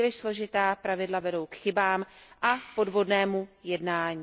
Příliš složitá pravidla vedou k chybám a podvodnému jednání.